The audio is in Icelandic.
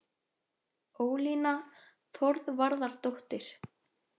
Ólína Þorvarðardóttir.